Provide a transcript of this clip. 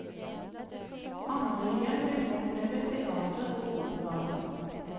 Andre igjen vil oppleve teater og opera.